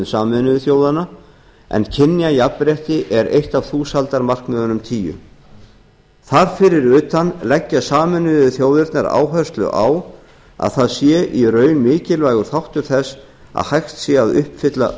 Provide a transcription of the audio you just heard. sameinuðu þjóðanna en kynjajafnrétti er eitt af þúsaldarmarkmiðunum tíu þar fyrir utan leggja sameinuðu þjóðirnar áherslu á að það sé í raun mikilvægur þáttur þess að hægt sé í raun að uppfylla